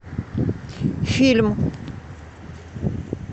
фильм